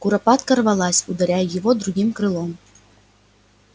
куропатка рвалась ударяя его другим крылом